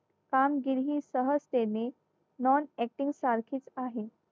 कामगिरी सहज त्याने non active सारखीच आहे